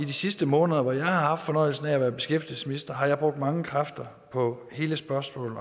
de sidste måneder hvor jeg har haft fornøjelsen af at være beskæftigelsesminister har jeg brugt mange kræfter på hele spørgsmålet